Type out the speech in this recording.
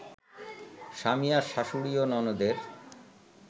স্বামী আর শাশুড়ি ও ননদের